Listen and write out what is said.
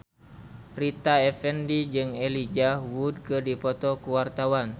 Rita Effendy jeung Elijah Wood keur dipoto ku wartawan